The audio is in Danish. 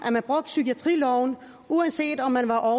at psykiatriloven blev uanset om man var over